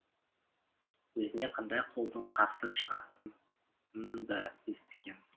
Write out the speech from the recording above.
өзіне қандай қолдың қарсы шығатынын да естіген